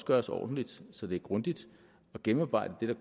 gøres ordentligt så det er grundigt og gennemarbejdet